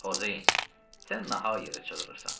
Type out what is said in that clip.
Xozeyin, sən nahaq yerə çığırırsan.